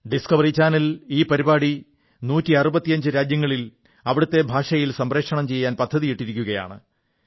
Discovery channel ഈ പരിപാടി 165 രാജ്യങ്ങളിൽ അവിടത്തെ ഭാഷയിൽ സംപ്രേഷണം ചെയ്യാൻ പദ്ധതിയിട്ടിരിക്കയാണ്